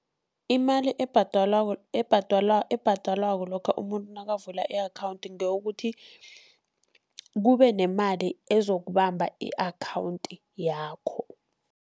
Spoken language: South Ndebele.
Imali ebhadelwako ebhadelwako lokha umuntu nakavula i-account, ngeyokuthi kube nemali ezokubamba i-account yakho.